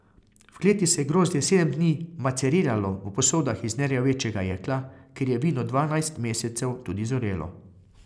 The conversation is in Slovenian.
V kleti se je grozdje sedem dni maceriralo v posodah iz nerjavečega jekla, kjer je vino dvanajst mesecev tudi zorelo.